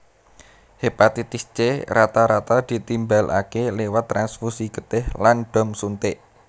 Hepatitis C rata rata ditimbalaké liwat transfusi getih lan dom suntik